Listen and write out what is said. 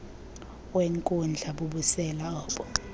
wenkundla bubusela obo